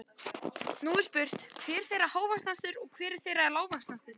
Nú er spurt, hver þeirra er hávaxnastur og hver þeirra er lágvaxnastur?